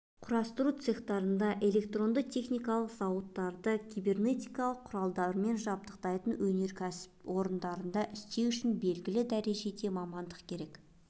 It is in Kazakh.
құрастыру цехтарында электронды-техникалық зауыттарды кибернетикалық құралдармен жабдықталған өнеркәсіп орындарында істеу үшін белгілі дәрежеде мамандық керек